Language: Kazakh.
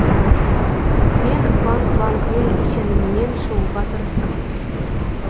мен банг бангның сенімінен шығуға тырыстым